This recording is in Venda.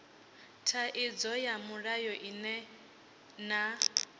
thaidzo ya mulayo ine na